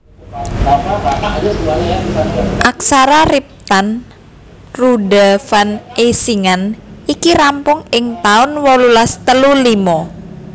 Aksara riptan Roorda van Eysingan iki rampung ing taun wolulas telu limo